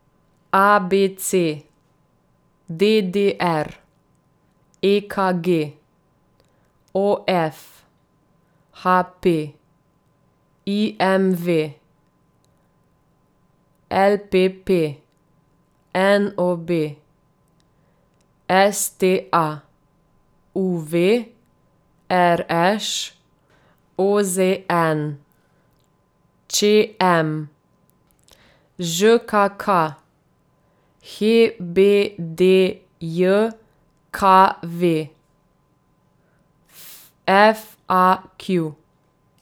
A B C; D D R; E K G; O F; H P; I M V; L P P; N O B; S T A; U V; R Š; O Z N; Č M; Ž K K; H B D J K V; F A Q.